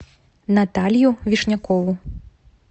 наталью вишнякову